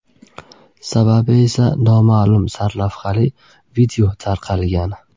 Sababi esa noma’lum” sarlavhali video tarqalgan.